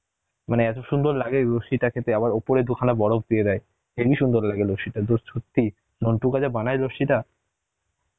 মানে এত সুন্দর লাগে লস্যিটা খেতে উপরে দুখানা বরফ দিয়ে দেয়, হেভি সুন্দর লাগে লস্যি টা সত্যি যা বানায় লস্যি টা